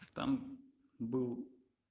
там был